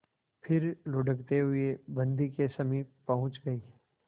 फिर लुढ़कते हुए बन्दी के समीप पहुंच गई